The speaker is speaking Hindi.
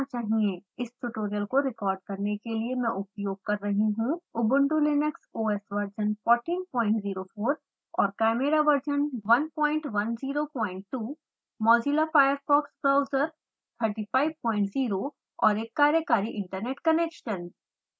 इस ट्यूटोरियल को रिकॉर्ड करने के लिए मैं उपयोग कर रही हूँ ubuntu linux os वर्जन 1404 और chimera version 1102 mozilla firefox browser 350 और एक कार्यकारी इन्टरनेट कनेक्शन